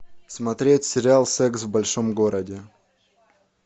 смотреть сериал секс в большом городе